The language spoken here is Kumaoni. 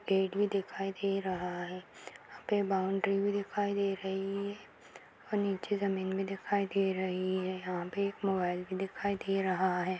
गेट भी दिखाई दे रहा है यहाँ पे बाउन्ड्री भी दिखाई दे रही है और नीचे ज़मीन भी दिखाई दे रही है यहाँ पे एक मोबाइल भी दिखाई दे रहा है।